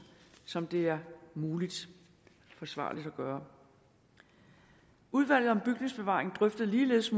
som det er muligt og forsvarligt at gøre udvalget om bygningsbevaring drøftede ligeledes